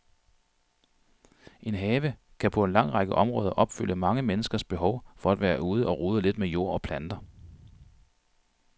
En have kan på en lang række områder opfylde mange menneskers behov for at være ude og rode lidt med jord og planter.